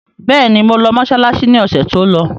Bẹ́ẹ̀ni, mo lọ mọsálásí ni ọ̀sẹ̀ tó lọ.